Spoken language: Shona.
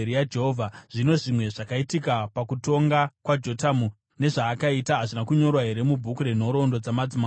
Zvino zvimwe zvakaitika pakutonga kwaJotamu, nezvaakaita, hazvina kunyorwa here mubhuku renhoroondo dzamadzimambo eJudha?